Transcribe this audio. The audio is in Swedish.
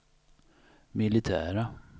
militära